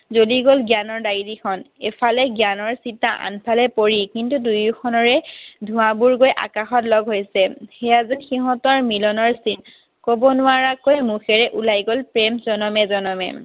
জ্বলি গ'ল জ্ঞানৰ diary খন। এফালে জ্ঞানৰ চিতা, আনফালে পৰীৰ। কিন্তু দুয়োখনৰে ধোঁৱাবোৰ গৈ আকাশত লগ হৈছে। সেয়া যেন সিহঁতৰ মিলনৰ চিন। কব নোৱাৰাকৈ মুখেৰে ওলাই গ'ল প্ৰেম জনমে জনমে।